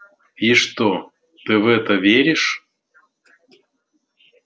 и что ты в это веришь